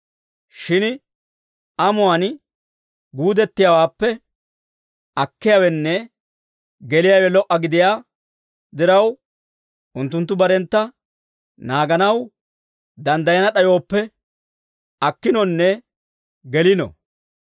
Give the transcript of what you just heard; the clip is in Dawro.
Shin amuwaan guudettiyaawaappe akkiyaawenne geliyaawe lo"a gidiyaa diraw, unttunttu barentta naaganaw danddayana d'ayooppe, akkinonne gelino.